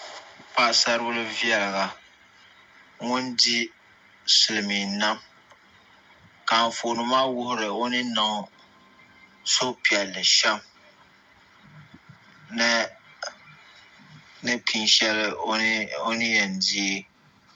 Paɣasaribili viɛlli ŋun di silmiin nam ka Anfooni maa wuhuri o ni niŋ suhupiɛlli shɛm ni pini shɛli o ni yɛn deei